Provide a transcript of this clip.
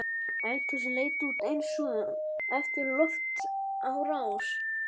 Eldhúsið leit út eins og eftir loftárás.